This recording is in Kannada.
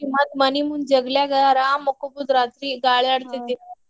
ಮತ್ತ್ ಮನಿ ಮುಂದ್ ಜಗಲ್ಯಾಗ ಅರಾಮ್ ಮಕ್ಕೊಬಹುದ್ ರಾತ್ರಿ ಗಾಳಿ .